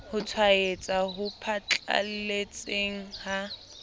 ho tshwaetsa ho phatlalletseng ha